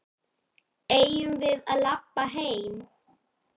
Eigum við að labba heim?